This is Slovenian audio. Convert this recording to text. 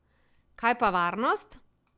Kaj pa varnost?